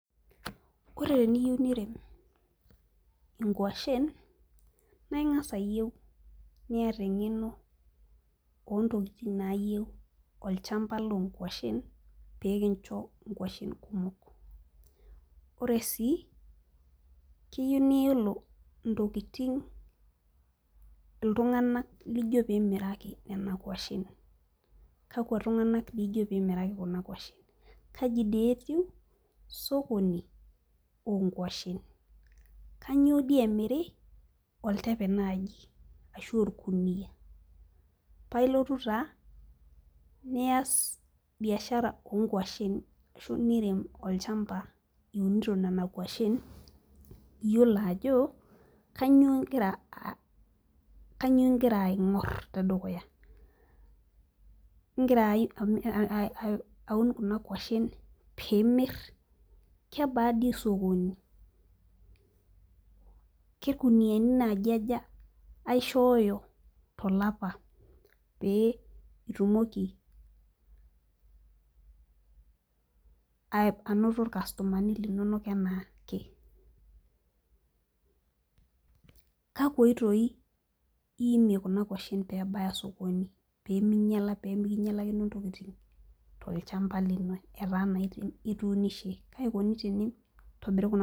Ore teniyieu nirem inkuashen naing'as ayieu niata eng'eno ontokitin nayieu olchamba lonkuashen pekincho inkuashen kumok ore sii kiyieu niyiolo intokiting iltung'anak lijio pimiraki nena kuashen kakwa tung'anak dii ijio pimiraki kuna kuashen kaji dee eiu sokoni onkuashen kanyio dii emiri oltepe naaji ashu orkuniyia pailotu taa niyas biashara onkuashen ashu nirem olchamba iunito nana kuashen iyiolo ajo kanyio ingira uh kanyio ingira aing'orr tedukuya ingira ami aun kuna kuashen piimirr kebaa dii sokoni kerkuniani naaji aja aishooyo tolapa pee itumoki ai anoto irkastomani linonok enaake kakwa oitoi iimie kuna kuashen pebaya sokoni peminyiala pemikinyialakino intokitin tolchamba etaa naa ituunishe kaikoni tini tinitobiri kuna.